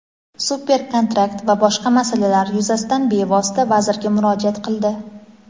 super kontrakt va boshqa masalalar yuzasidan bevosita vazirga murojaat qildi.